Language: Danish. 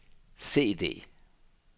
CD